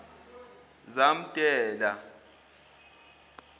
zamdela